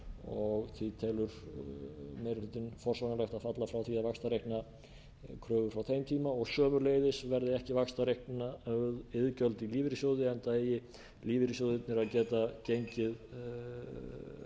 og því telur meiri hlutinn forsvaranlegt að falla frá því að vaxtareikna kröfur frá þeim tíma og sömuleiðis verði ekki vaxtareiknuð iðgjöld í lífeyrissjóði enda eigi lífeyrissjóðirnir að geta gengið hratt